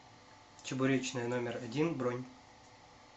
чебуречная номер один бронь